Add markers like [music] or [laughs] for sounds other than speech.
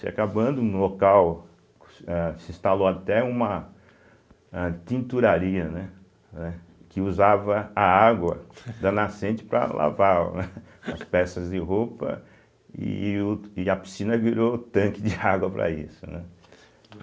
Se acabando no local, se eh se instalou até uma âh tinturaria, né, eh que usava a água da nascente para lavar [laughs] as peças de roupa e o e a piscina virou tanque de água para isso, né.